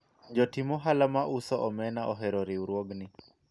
jotim ohala ma uso omena ohero riwruogni